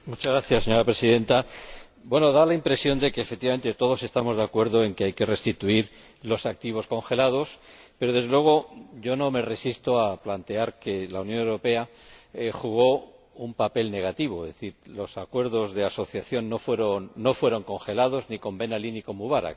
Señora Presidenta, da la impresión de que, efectivamente, todos estamos de acuerdo en que hay que restituir los activos congelados pero, desde luego, yo no me resisto a plantear que la Unión Europea jugó un papel negativo, es decir, los acuerdos de asociación no fueron congelados ni con Ben Ali ni con Mubarak.